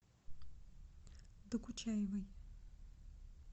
докучаевой